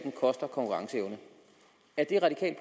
at